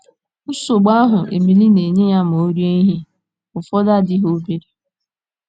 Nsogbu ahụ́ Emily na - enye ya ma o rie ihe ụfọdụ adịghị obere.